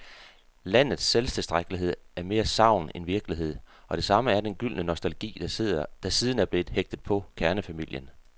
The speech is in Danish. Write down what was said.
Landets selvtilstrækkelighed er mere sagn end virkelighed, og det samme er den gyldne nostalgi, der siden er blevet hægtet på kernefamilien.